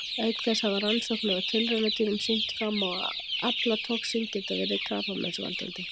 Auk þessa hafa rannsóknir á tilraunadýrum sýnt fram á að aflatoxín geti verið krabbameinsvaldandi.